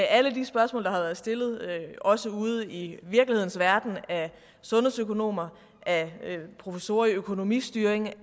alle de spørgsmål der har været stillet også ude i virkelighedens verden af sundhedsøkonomer af professorer i økonomistyring og